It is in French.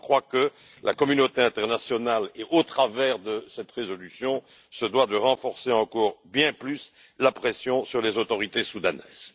Je crois que la communauté internationale, au travers de cette résolution, se doit de renforcer encore bien plus la pression sur les autorités soudanaises.